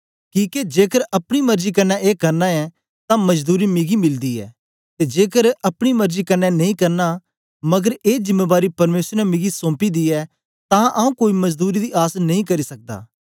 किके जेकर अपनी मर्जी कन्ने ए करना ऐं तां मजदूरी मिगी मिलदी ऐ ते जेकर अपनी मर्जी कन्ने नेई करना मगर ए जिमेंबारी परमेसर ने मिगी सौंपी दी ऐ तां आऊँ कोई मजदूरी दी आस नेई करी सकदा